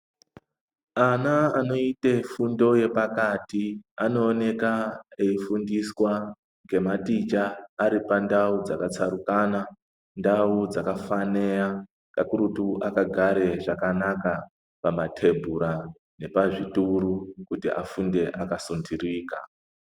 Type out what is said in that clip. Ana anoita fundo yepakati anoonekwa eifundiswa nematicha Ari pandau dzakatsarukana ndau dzakafanira kakurutu akagare zvakanaka pamatebhura nepazvituru kuti afundire pakasundirika.